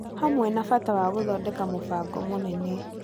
Hamwe na bata wa gũthondeka mũbango mũnene,